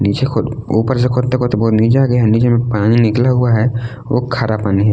नीचे खोद ऊपर से खोदते खोदते बहोत नीचे आ गया है नीचे में पानी निकला हुआ है वो खारा पानी।